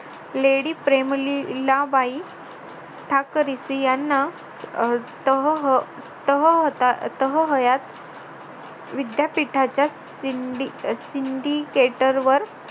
lady Prem Lilabai Thackersey यांना अह विद्यापीठाच्या सिंडिकेटरवर